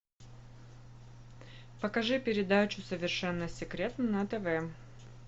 покажи передачу совершенно секретно на тв